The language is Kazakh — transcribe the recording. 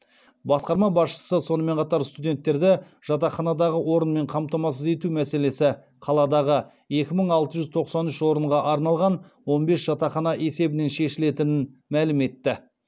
басқарма басшысы сонымен қатар студенттерді жатақханадағы орынмен қамтамасыз ету мәселесі қаладағы екі мың алты жүз тоқсан үш орынға арналған он бес жатақхана есебінен шешілетінін мәлім етті